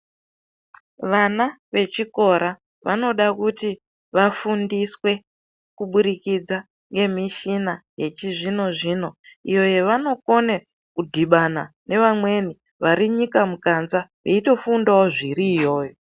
Vana vechikora vanoda kuti vafundiswe kuburikidza ngemishina yechizvino zvino iyo yevanokone kudhibana nevamweni vari nyika mukanza eitofundawo zviri iyoyo.